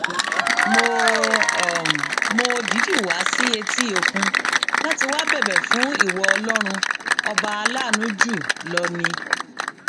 mo mo dìídì wá sí etí òkun láti wáá bẹbẹ fún ìwọ ọlọrun ọba aláàánú jù lọ ni